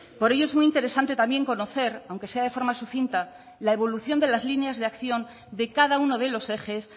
por ello es muy interesante también conocer aunque sea de forma sucinta la evolución de las líneas de acción de cada uno de los ejes